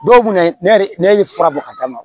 Dɔw kunna ne ne ye fura bɔ ka d'a ma